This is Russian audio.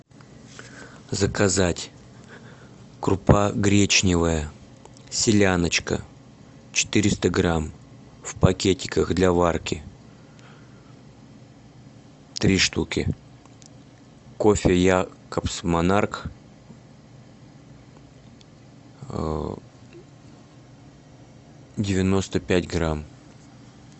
заказать крупа гречневая селяночка четыреста грамм в пакетиках для варки три штуки кофе якобс монарх девяносто пять грамм